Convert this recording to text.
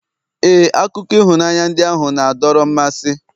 ee, akụkọ ịhụnanya ndị ahụ na-adọrọ mmasị